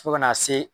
Fo kana se